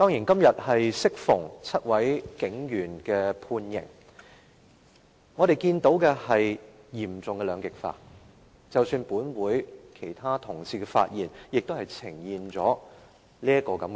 今天適逢是7名警員判刑的日子，我們看到嚴重的兩極化，即使是本會其他同事的發言，也呈現了這種現象。